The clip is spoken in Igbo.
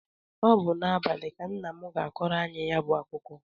Ọ bụ n'abalị ka nna m ga-akọrọ anyị ya bụ akụkọ.